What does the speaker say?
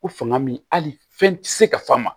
Ko fanga min hali fɛn tɛ se ka f'a ma